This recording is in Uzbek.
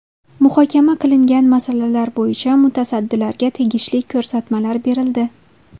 Muhokama qilingan masalalar bo‘yicha mutasaddilarga tegishli ko‘rsatmalar berildi.